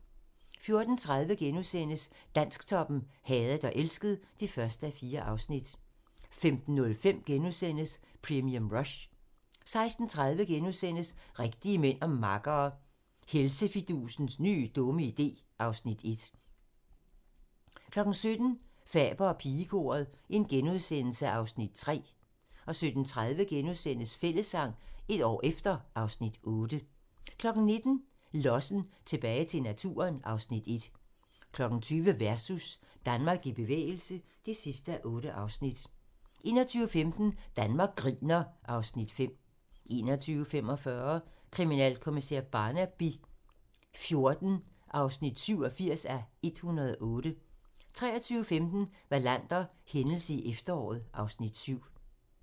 14:30: Dansktoppen: Hadet og elsket (1:4)* 15:05: Premium Rush * 16:30: Rigtige mænd og makkere - Helsefidusens nye dumme idé (Afs. 1)* 17:00: Faber og pigekoret (Afs. 3)* 17:30: Fællessang - et år efter (Afs. 8)* 19:00: Lossen - tilbage til naturen (Afs. 1) 20:00: Versus - Danmark i bevægelse (8:8) 21:15: Danmark griner (Afs. 5) 21:45: Kriminalkommissær Barnaby XIV (87:108) 23:15: Wallander: Hændelse i efteråret (Afs. 7)